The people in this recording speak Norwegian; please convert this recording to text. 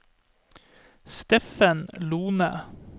Steffen Lohne